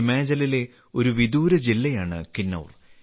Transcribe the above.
ഹിമാചലിലെ ഒരു വിദൂര ജില്ലയാണ് കിന്നൌർ